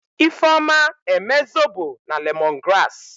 Ifeoma eme zobo na lemongrass.